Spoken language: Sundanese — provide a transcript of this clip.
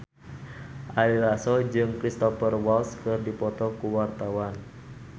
Ari Lasso jeung Cristhoper Waltz keur dipoto ku wartawan